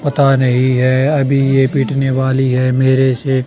पता नहीं है अभी ये पिटने वाली है मेरे से।